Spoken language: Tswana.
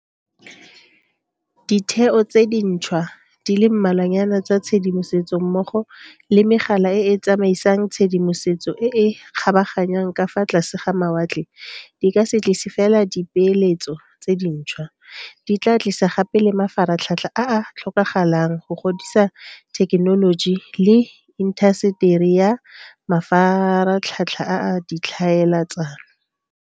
Ditheo tse dintšhwa di le mmalwanyana tsa tshedimosetso mmogo le megala e e tsamaisang tshedimosetso e e kgabaganyang ka fa tlase ga mawatle di ka se tlise fela dipeeletso tse dintšhwa, di tla tlisa gape le mafaratlhatlha a a tlhokagalang go godisa thekenoloji le intaseteri ya mafaratlhatlha a ditlhaele tsano.